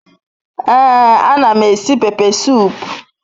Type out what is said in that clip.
Ee anam esi pepe sup